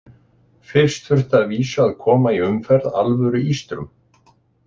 Fyrst þurfti að vísu að koma í umferð alvöru ístrum.